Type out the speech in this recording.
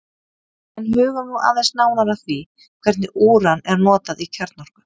En hugum nú aðeins nánar að því hvernig úran er notað í kjarnorku.